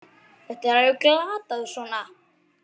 Þetta er alveg glatað svona!